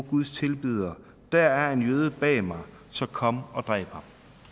guds tilbeder der er en jøde bag mig så kom og dræb ham